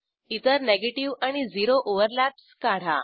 इतर निगेटीव्ह आणि zero overlaps काढा